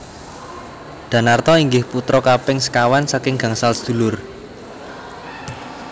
Danarto inggih putra kaping sekawan saking gangsal sedulur